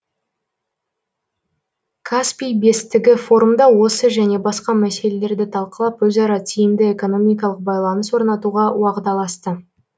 каспий бестігі форумда осы және басқа мәселелерді талқылап өзара тиімді экономикалық байланыс орнатуға уағдаласты